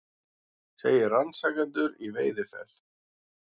Segir rannsakendur í veiðiferð